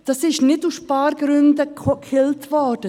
Das wurde nicht aus Spargründen gekillt.